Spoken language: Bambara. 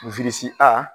a